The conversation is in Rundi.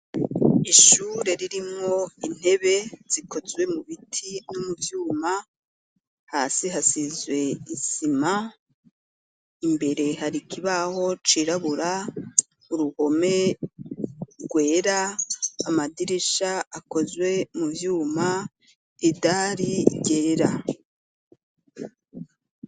Ishure ririmwo intebe zikozwe mu biti no mu vyuma, hasi hasizwe isima, imbere hari ikibaho cirabura, uruhome rwera, amadirisha akozwe mu vyuma, idari ryera.